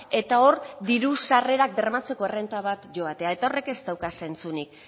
eta hor diru sarrerak bermatzeko errenta bat joatea eta horrek ez dauka zentzurik